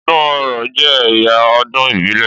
Ọdún Orò jẹ́ ẹ̀yà ọdún ìbílẹ̀.